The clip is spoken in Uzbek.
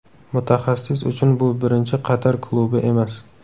Mutaxassis uchun bu birinchi Qatar klubi emas.